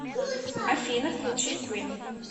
афина включи квин